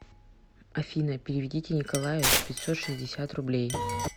афина переведите николаю пятьсот шестьдесят рублей